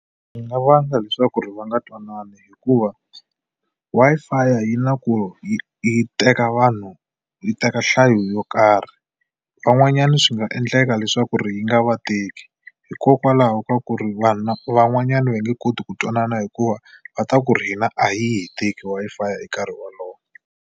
Swi nga vanga leswaku ri va nga twanani hikuva Wi-Fi yi na ku yi yi teka vanhu yi teka nhlayo yo karhi. Van'wanyana swi nga nga endleka leswaku ri yi nga vateki hikokwalaho ka ku ri vanhu van'wanyani va nge koti ku twanana hikuva va ta ku ri hina a yi hi teki Wi-Fi hi nkarhi wolowo.